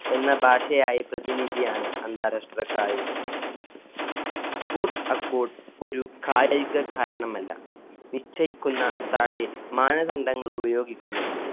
എന്ന ഭാഷയായി പ്രതിനിധിയാണ് അന്താരാഷ്ട്ര കായികം. sports accord ഒരു കായിക കാരണമല്ല. നിശ്ചയിക്കുന്ന താഴെ മാനദണ്ഡങ്ങള്‍ ഉപയോഗിക്കുന്നത്.